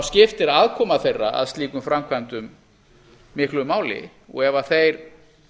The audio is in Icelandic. skiptir aðkoma þeirra að slíkum framkvæmdum miklu máli ef þeir